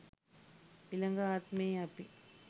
ඊළග ආත්මේ අපි